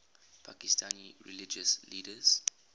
pakistani religious leaders